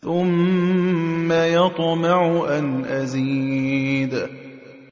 ثُمَّ يَطْمَعُ أَنْ أَزِيدَ